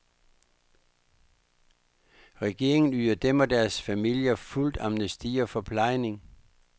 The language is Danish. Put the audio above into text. Regeringen yder dem og deres familier fuldt amnesti og forplejning.